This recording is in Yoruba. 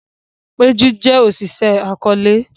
Peju jé Oṣiṣẹ akọọlẹ